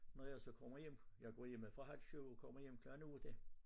Når jeg så kommer hjem jeg går hjemmefra halv 7 og kommer hjem klokken 8